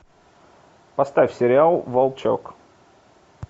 поставь сериал волчок